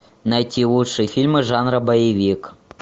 найти лучшие фильмы жанра боевик